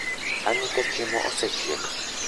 Ang'i ka chiemo osechiek?